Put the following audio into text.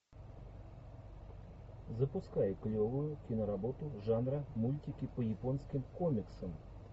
запускай клевую киноработу жанра мультики по японским комиксам